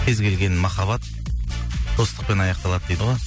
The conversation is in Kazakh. кез келген махаббат достықпен аяқталады дейді ғой